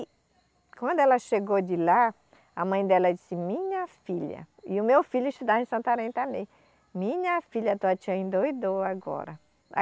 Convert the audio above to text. E quando ela chegou de lá, a mãe dela disse, minha filha, e o meu filho estudava em Santarém também, minha filha, tua tia endoidou agora.